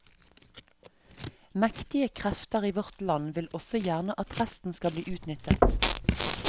Mektige krefter i vårt land vil også gjerne at resten skal bli utnyttet.